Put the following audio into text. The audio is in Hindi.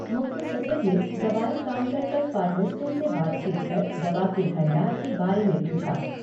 मुख्य सचिव ने दवाई काउन्टर पर फ़ारमिस्टों से बातचीत कर दवा के भंडार के बारे में पूछा।